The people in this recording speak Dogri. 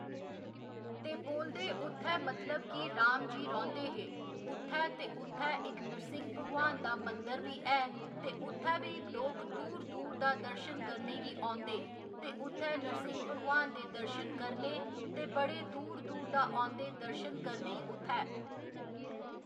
ते बोलदे उत्थै मतलब कि राम जी रौंह्दे हे उत्थै ते उत्थै इक नरसिंह्‌ भगवान दा मंदिर बी ऐ ते उत्थै बी लोक दूर दूर दा दर्शन करने गी औंदे ते उत्थै नरसिंह्‌ भगवान दे दर्शन करने ते बड़े दूर दूर दा औंदे दर्शन करने ई उत्थै